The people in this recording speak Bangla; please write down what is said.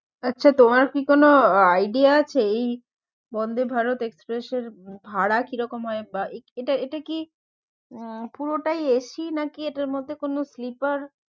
আচ্ছা তোমার কি কোনো idea আছে এই বন্ধে ভারত এক্সপ্রেসের ভাড়া কিরকম হয় বা এ~ এটা কি উম পুরোটাই AC নাকি এটার মধ্যে কোনো sleeper